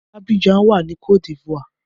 Abidjan wà ní cote d'Ivoire.